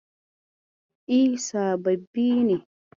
E, sababbi ne.